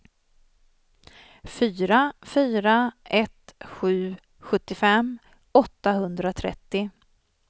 fyra fyra ett sju sjuttiofem åttahundratrettio